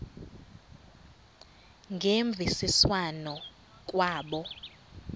ngemvisiswano r kwabo